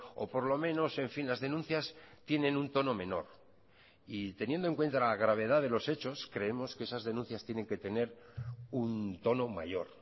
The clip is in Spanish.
o por lo menos en fin las denuncias tienen un tono menor y teniendo en cuenta la gravedad de los hechos creemos que esas denuncias tienen que tener un tono mayor